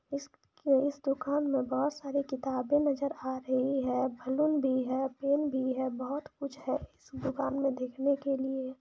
इस इस दुकान मे बहुत सारी किताबे नजर आ रही है बलून भी है फेन भी है बहुत कुछ है इस दुकान में देखने के लिए--